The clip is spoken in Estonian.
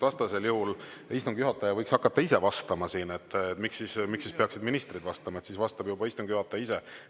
Vastasel juhul võiks istungi juhataja ise hakata siin vastama, sest miks siis peaksid üldse ministrid vastama, sel juhul vastab juba istungi juhataja ise.